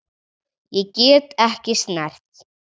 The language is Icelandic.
Ég get ekki snert.